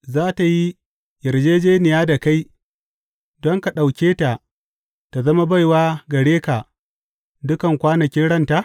Za tă yi yarjejjeniya da kai don ka ɗauke ta tă zama baiwa gare ka dukan kwanakin ranta?